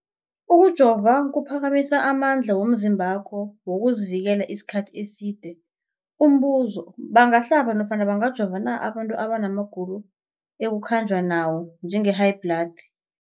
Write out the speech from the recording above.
Ukujova kuphakamisa amandla womzimbakho wokuzivikela isikhathi eside. Umbuzo, bangahlaba nofana bangajova na abantu abana magulo ekukhanjwa nawo, njengehayibhladi?